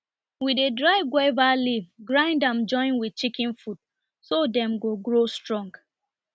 we dey dry guava leaf grind am join with chicken food so dem go grow strong